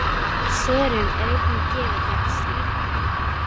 Það var eina verkið sem henni féll ekki allskostar við.